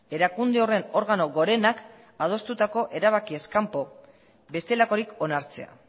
erakunde horren organo gorenak adostutako erabakiez kanpo bestelakorik onartzea